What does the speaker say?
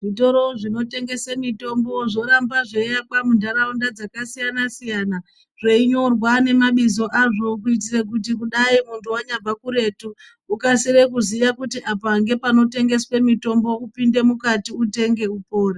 Zvitoro zvinotengese mitombo zvoramba zveiakwa muntaraunda dzakasiyana siyana zveinyorwa nemabizo azvo kuitire kudai muntu wanyabva kuretu ukasire kuziya kuti apa ngepanotengeswe mitombo upinde mukati utenge upore.